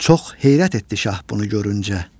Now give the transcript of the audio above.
Çox heyrət etdi şah bunu görüncə.